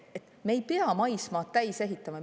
Me ei pea maismaad täis ehitama.